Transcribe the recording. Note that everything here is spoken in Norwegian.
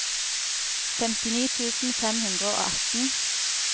femtini tusen fem hundre og atten